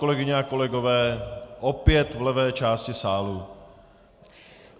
Kolegyně a kolegové - opět v levé části sálu.